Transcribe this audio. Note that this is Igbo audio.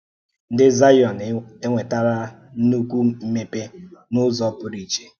Ndị̀ Zion ènwetàrà nnukwu mmepe n’ụ́zọ̀ pụrụ iche.